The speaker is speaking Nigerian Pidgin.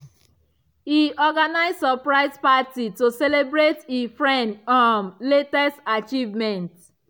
e organize surprise party to celebrate e friend um latest achievement.